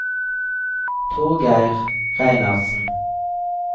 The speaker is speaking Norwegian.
Torgeir Reinertsen